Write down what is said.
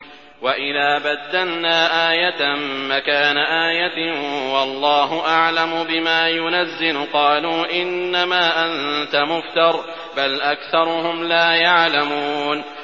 وَإِذَا بَدَّلْنَا آيَةً مَّكَانَ آيَةٍ ۙ وَاللَّهُ أَعْلَمُ بِمَا يُنَزِّلُ قَالُوا إِنَّمَا أَنتَ مُفْتَرٍ ۚ بَلْ أَكْثَرُهُمْ لَا يَعْلَمُونَ